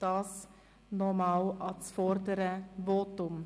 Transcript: Soviel nochmals zum vorangegangenen Votum.